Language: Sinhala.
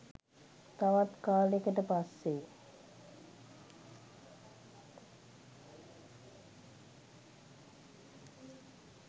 තවත් කාලෙකට පස්සෙ